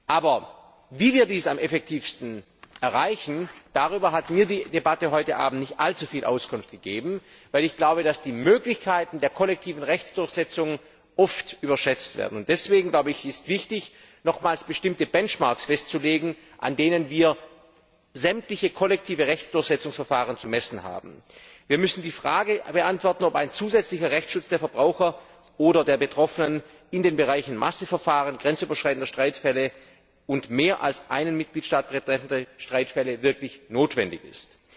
Aber wie wir dies am effektivsten erreichen, darüber hat mir die Debatte heute Abend nicht allzu viel Auskunft gegeben, weil ich glaube, dass die Möglichkeiten der kollektiven Rechtsdurchsetzung oft überschätzt werden. Deswegen ist es wichtig, nochmals bestimmte Benchmarks festzulegen, an denen wir sämtliche kollektiven Rechtsdurchsetzungsverfahren zu messen haben. Wir müssen die Frage beantworten, ob ein zusätzlicher Rechtsschutz der Verbraucher oder der Betroffenen in den Bereichen Massenverfahren, grenzüberschreitende Streitfälle und mehr als einen Mitgliedstaat betreffende Streitfälle wirklich notwendig ist.